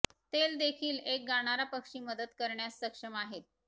तेल देखील एक गाणारा पक्षी मदत करण्यास सक्षम आहेत